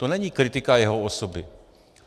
To není kritika jeho osoby.